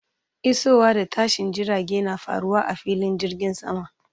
Isowa da tashin jirage na faruwa a filin jirgin sama.